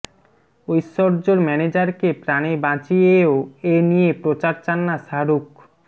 ঐশ্বর্যর ম্যানেজারকে প্রাণে বাঁচিয়েও এনিয়ে প্রচার চান না শাহরুখ